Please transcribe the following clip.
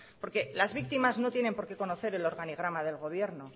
porque las víctimas no tienen por qué conocer el organigrama del gobierno